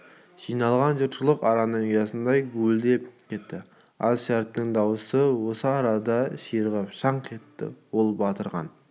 жиналған жұртшылық араның ұясындай гуілдеп кетті жаз шәріптің дауысы осы арада ширығып шаңқ етті сол батырағын